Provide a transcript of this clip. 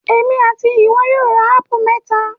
Èmi and ìwọ yóò ra ápù mẹ́ta